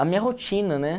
A minha rotina, né?